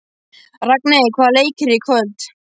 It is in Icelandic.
Ragney, hvaða leikir eru í kvöld?